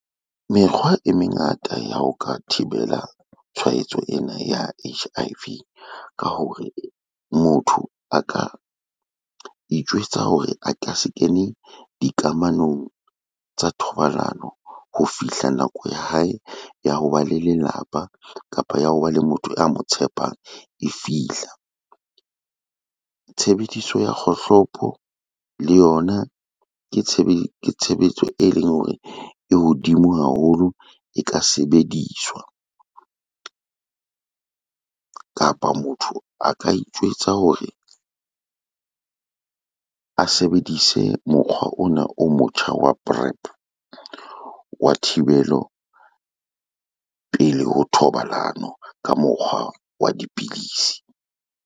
Mekgwa e mengata ya ho ka thibela tshwaetso ena ya H_I_V ka hore motho a ka itjwetsa hore a ka se kene dikamanong tsa thobalano ho fihla nako ya hae ya hoba le lelapa kapa ya hoba le motho a mo tshepang e fihla. Tshebediso ya kgohlopo le yona ke tshebetso eleng hore e hodimo haholo e ka sebediswa. Kapa motho a ka itjwetsa hore a sebedise mokgwa ona o motjha wa Prep, wa thibelo pele ho thobalano ka mokgwa wa dipidisi.